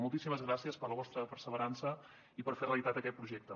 moltíssimes gràcies per la vostra perseverança i per fer realitat aquest projecte